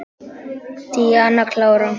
Díana klára.